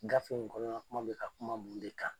Gafe in kɔnɔna kuma bɛ ka kuma mun de kan ?